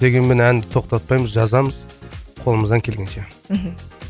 дегенмен әнді тоқтатпаймыз жазамыз қолымыздан келгенше мхм